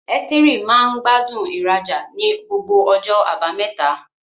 Esteri maa gbádùn ìrajà ní gbogbo ọjọ́ Àbámẹ́ta.